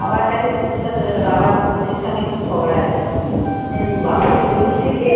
বাবার কাছে তুলসি পাতা বাবার তুলসির সঙ্গে খুব ঝগড়া আছে। বাবা তুলসিকে